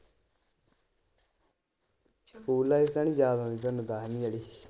School life ਤਾਂ ਨੀ ਯਾਦ ਆਉਂਦੀ ਤੁਹਾਨੂੰ ਦਸਵੀਂ ਵਾਲੀ?